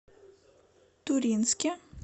туринске